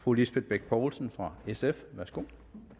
fru lisbeth bech poulsen fra sf værsgo